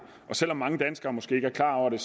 og selv om mange danskere måske ikke er klar over det